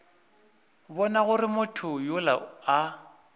bona gore motho yola a